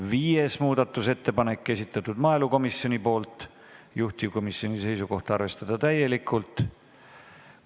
Viies muudatusettepanek, esitanud maaelukomisjon, juhtivkomisjoni seisukoht: arvestada täielikult.